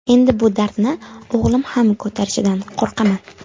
Endi bu dardni o‘g‘lim ham ko‘tarishidan qo‘rqaman.